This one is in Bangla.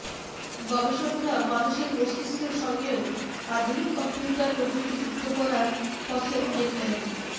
গবেষকেরা মানুষের মস্তিষ্কের সঙ্গেও আধুনিক কম্পিউটার প্রযুক্তি যুক্ত করার পথে অনেকটাই